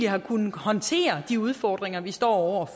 har kunnet håndtere de udfordringer vi står